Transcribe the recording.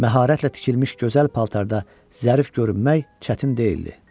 Məharətlə tikilmiş gözəl paltarda zərif görünmək çətin deyildi.